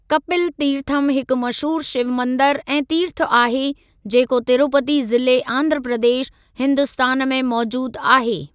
कपिल तीर्थम हिकु मशहूरु शिव मंदरु ऐं तीर्थ आहे, जेको तिरुपति ज़िले आंध्र प्रदेश, हिन्दुस्तान में मौजूदु आहे।